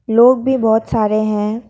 लोग भी बहुत सारे हैं।